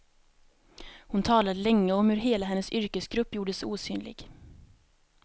Hon talade länge om hur hela hennes yrkesgrupp gjordes osynlig.